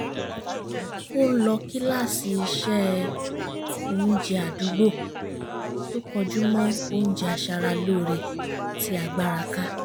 ó ń lọ kíláàsì ìse-oúnjẹ àdúgbò tó kọjú mọ́ oúnjẹ aṣara lóore tí agbára ká